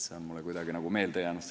See on mulle kuidagi meelde jäänud.